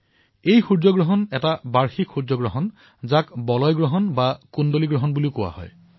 এই সূৰ্যগ্ৰহণ হল এক আন্নোলাৰ চলাৰ এক্লিপছে যাক বলয় গ্ৰহণ অথহা কুণ্ডল গ্ৰহণ বুলিও কোৱা হয়